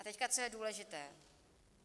A teď, co je důležité.